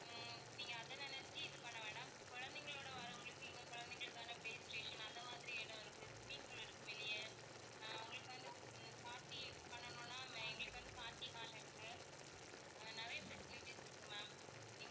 உம் நீங்க அதை நினைச்சு இது பண்ண வேண்டாம். குழந்தைங்களோட வர்றவங்களுக்கு இங்க குழந்தைங்களுக்கான play station அந்த மாதிரி இடம் இருக்கு swimming pool இருக்கு வெளிய ஆஹ் உங்களுக்கு வந்து உம் party பண்ணனுன்னா மேலயே வந்து party hall இருக்கு. அஹ் நிறைய facilities இருக்கு ma'am